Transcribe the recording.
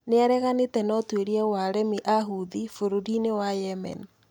Nĩ areganĩte na ũtuĩria wa aremi a Houthi bũrũri-inĩ wa Yemen,